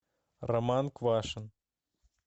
роман квашин